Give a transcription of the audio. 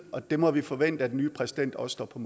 og det må vi forvente at den nye præsident også står på